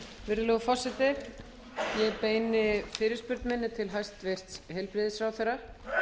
virðulegur forseti ég beini fyrirspurn minni til hæstvirts heilbrigðisráðherra